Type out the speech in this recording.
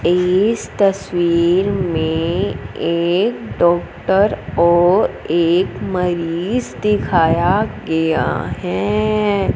इस तस्वीर में एक डॉक्टर और एक मरीज दिखाया गया है।